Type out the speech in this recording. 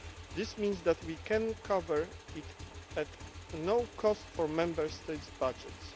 This means that we can cover it at no cost to Member States' budgets.